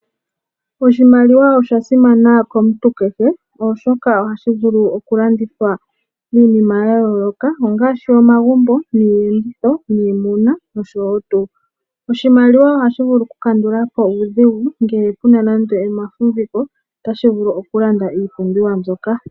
Oshimaliwa osha simana komuntu kehe, oshoka oha shi vulu oku landithwa iinima ya yooloka, ongaashi omagumbo, iiyenditho niimuna no tuu.. Oshimaliwa oha shi vulu oku kandulapo uudhigu ngele puna namdo oma fumbiko, ota shi vulu oku landa iipumbiwa mbyoka.